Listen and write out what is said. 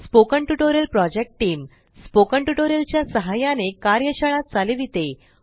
spoken tutorial project team spoken tutorial च्या सहाय्याने कार्यशाळा चालविते